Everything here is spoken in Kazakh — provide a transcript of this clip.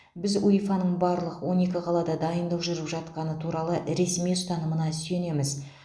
біз уефа ның барлық он екі қалада дайындық жүріп жатқаны туралы ресми ұстанымына сүйенеміз